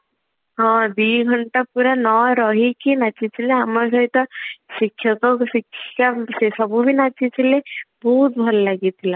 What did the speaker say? ହଁ ଦିଘଣ୍ଟା ପୁରା ନ ରହିକି ନାଚୁଥିଲେ ଆମ ସହିତ ଶିକ୍ଷକ ଶିକ୍ଷ ସେ ସବୁ ବି ନାଚୁଥିଲେ ବହୁତ ଭଲ ଲାଗିଥିଲା